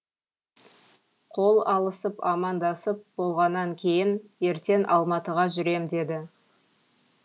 қол алысып амандасып болғаннан кейін ертең алматыға жүрем деді